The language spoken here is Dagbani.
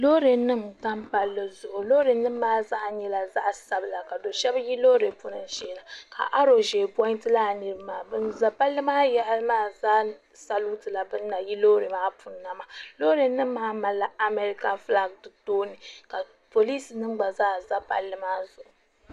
lori nim tam paligu lori nim maa zaa nyɛla zaɣ' sabila ka shɛbi yi lori ni shɛɛna ka aru ʒiɛ puntɛ laa nirimaa ka pali maa yaɣili maa zaa salitɛ ban yi lori maa puuni na lori nim maa malila amɛrika ƒɔlagi di tooni ka polisi nim gba zaa za pali maa zuɣ'